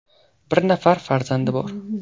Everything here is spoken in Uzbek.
Bir nafar farzandi bor.